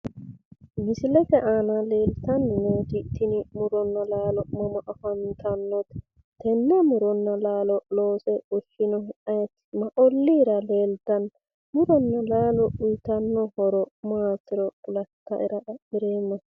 Misilete aana leeltanni nooti tini muronna laalo mama afantannote? Tenne muronna laalo loose fushshinohu ayeeti? Ma olliira leeltanno? Muronna laalo uyiitannoro horo maatiro kulatta"era xa'mireemmahe?